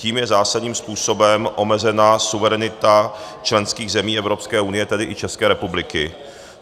Tím je zásadním způsobem omezena suverenita členských zemí Evropské unie, tedy i České republiky.